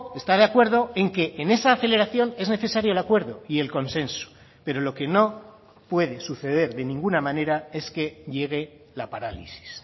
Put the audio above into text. está de acuerdo en que en esa aceleración es necesario el acuerdo y el consenso pero lo que no puede suceder de ninguna manera es que llegue la parálisis